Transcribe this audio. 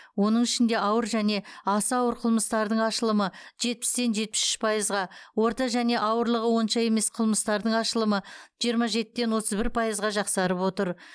оның ішінде ауыр және аса ауыр қылмыстардың ашылымы жетпістен жетпіс үш пайызға орта және ауырлығы онша емес қылмыстардың ашылымы жиырма жетіден отыз бір пайызға жақсарып отыр